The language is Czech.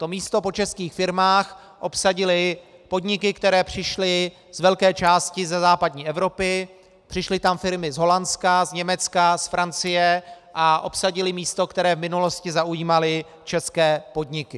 To místo po českých firmách obsadily podniky, které přišly z velké části ze západní Evropy, přišly tam firmy z Holandska, z Německa, z Francie a obsadily místo, které v minulosti zaujímaly české podniky.